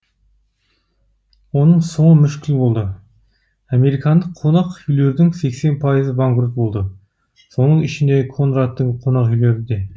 оның соңы мүшкіл болды американдық қонақ үйлердің пайызы банкрот болды соның ішінде конрадтың конақ үйлері де